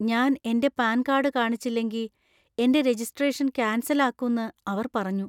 ഞാൻ എന്‍റെ PAN card കാണിച്ചില്ലെങ്കി എന്‍റെ രജിസ്ട്രേഷൻ കാൻസൽ ആക്കുന്ന് അവർ പറഞ്ഞു.